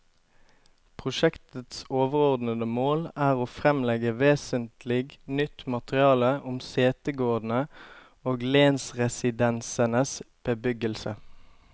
Prosjektets overordede mål er å fremlegge vesentlig nytt materiale om setegårdene og lensresidensenes bebyggelse.